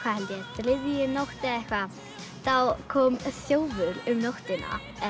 þriðju nótt eða eitthvað þá kom þjófur um nóttina